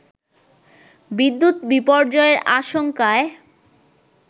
বিদ্যুৎ বিপর্যয়ের আশঙ্কায়